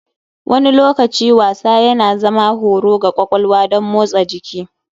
Wani lokaci wasa yana zama horo ga kwakwalwa don motsa jiki.